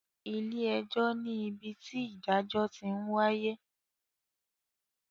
Ilé ẹjọ́ ní ibi tí ìdájọ́ ti ń wáyé